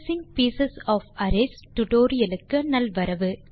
accessing piece of arrays tutorial க்கு நல்வரவு